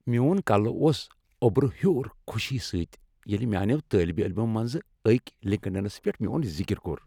میون کلہ اوس اوٚبرٕ ہیوٚر خوشی سۭتۍ ییٚلہ میانیو طالب علمو منزٕ اكۍ لِنكڈ اِنس پیٹھ میون ذِكر کوٚر ۔